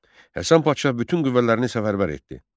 Həsən Padşah bütün qüvvələrini səfərbər etdi.